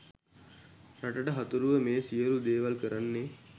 රටට හතුරුව මේ සියළු දේවල් කරන්නේ.